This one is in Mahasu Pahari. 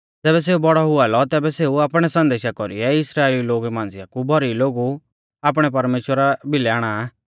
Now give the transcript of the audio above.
ज़ैबै सेऊ बौड़ौ हुआ लौ तैबै सेऊ आपणै संदेशा कौरीऐ इस्राइलिऊ लोगु मांझ़िया कु भौरी लोगु आपणै प्रभु परमेश्‍वरा भिलै आणा आ